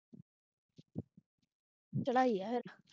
ਚੜ੍ਹਾਈ ਹੈ ਫੇਰ